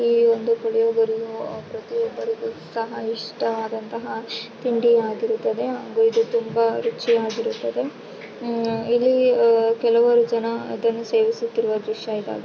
ಈ ಒಂದು ಪುಲಿಯೋಗರೆ ಪ್ರತಿಯೊಬ್ಬರಿಗೂ ಇಷ್ಟ ಆದಂತಹ ತಿಂಡಿ ಆಗಿರುತ್ತದೆ ಇದು ತುಂಬಾ ರುಚಿಯಾಗಿರುತ್ತೆ ಇಲ್ಲಿ ಕೆಲವು ಜನ ಇದನ್ನು ಸೇವಿಸುತ್ತಾ ಇರುವ ದೃಶ್ಯ ಇದಾಗಿದೆ --